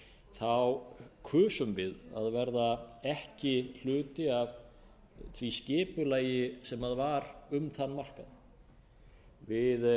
þá kusum við að verða ekki hluti af því skipulagi sem var um þann markað við